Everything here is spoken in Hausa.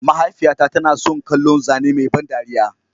Mahaifiyata tana son kallon zane mai ban dariya.